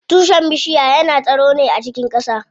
Tushen bishiya yana tsiro ne a cikin ƙasa.